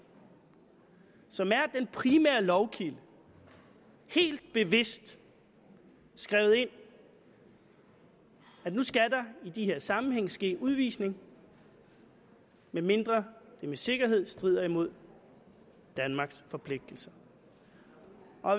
som er den primære lovkilde helt bevidst skrevet ind at nu skal der i de her sammenhænge ske udvisning medmindre det med sikkerhed strider mod danmarks forpligtelser